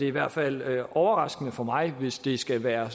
i hvert fald være overraskende for mig hvis det skal være